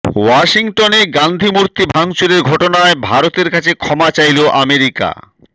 ওয়াশিংটনে গান্ধী মূর্তি ভাঙচুরের ঘটনায় ভারতের কাছে ক্ষমা চাইল আমেরিকা